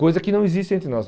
Coisa que não existe entre nós.